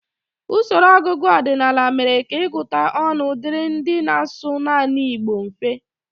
Usoro ọgụgụ ọdịnala mere ka ịgụta ọnụ dịrị ndị na-asụ naanị Igbo mfe